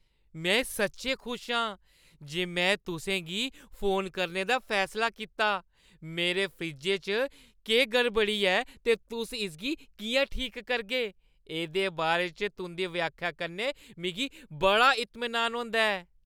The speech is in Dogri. में सच्चैं खुश आं जे में तुसें गी फोन करने दा फैसला कीता। मेरे फ्रिज्जै च केह् गड़बड़ी ऐ ते तुस इसगी किʼयां ठीक करगे, एह्दे बारे च तुंʼदी व्याख्या कन्नै मिगी बड़ा इतमीनान होंदा ऐ।